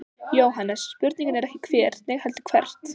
JÓHANNES: Spurningin er ekki hvenær heldur hvert.